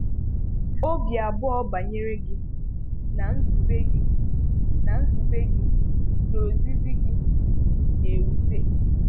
Ọ̀bì abụọ̀ banyere gị, na nzùbè gị, na nzùbè gị, na ọ̀zìzì gị. na-ewùtè.